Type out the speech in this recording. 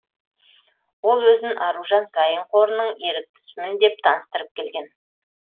ол өзін аружан саин қорының еріктісімін деп таныстырып келген